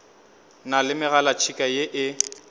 na le megalatšhika ye e